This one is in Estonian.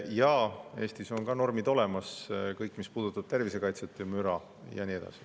Ja Eestis on ka normid olemas – kõik, mis puudutavad tervise kaitset ja müra.